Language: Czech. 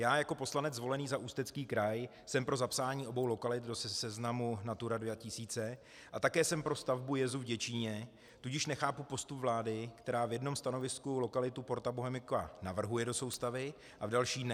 Já jako poslanec zvolený za Ústecký kraj jsem pro zapsání obou lokalit do seznamu Natura 2000 a také jsem pro stavbu jezů v Děčíně, tudíž nechápu postup vlády, která v jednom stanovisku lokalitu Porta Bohemica navrhuje do soustavy a v další ne.